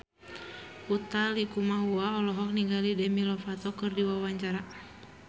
Utha Likumahua olohok ningali Demi Lovato keur diwawancara